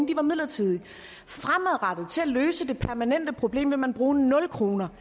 de var midlertidige fremadrettet til at løse det permanente problem vil man bruge nul kroner